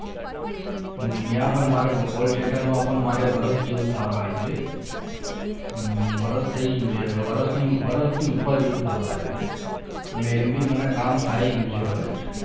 અહીંયા પણ call માં પણ મારે વરસ જેવું થવા આવ્યું છે વર્ષ થઈ ગયું હશે હવે વરસ વરસની ઉપર જેવું થવા આવ્યું છે અને એમ બી મને કામ ફાઈ ગયું છે બધું